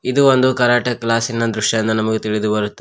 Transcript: ಇದು ಒಂದು ಕರಾಟೆ ಕ್ಲಾಸಿನ ದೃಶ್ಯ ಎಂದು ನಮಗೆ ತಿಳಿದು ಬರುತ್ತ--